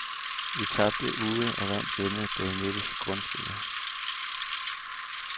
Vi tabte ude og vandt hjemme, da vi mødtes i grundspillet.